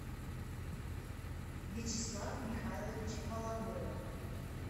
вячеслав михайлович воловодов